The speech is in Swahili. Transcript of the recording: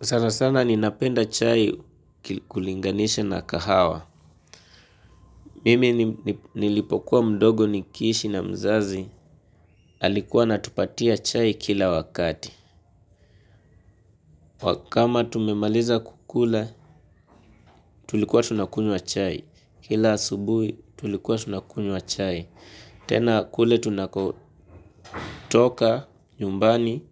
Sana sana ninapenda chai kulinganisha na kahawa. Mimi nilipokuwa mdogo nikiishi na mzazi alikuwa anatupatia chai kila wakati. Kama tumemaliza kukula, tulikuwa tunakunywa chai. Kila asubuhi, tulikuwa tunakunywa chai. Tena kule tunakotoka nyumbani,